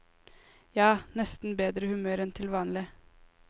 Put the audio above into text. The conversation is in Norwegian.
Ja, nesten bedre humør enn til vanlig.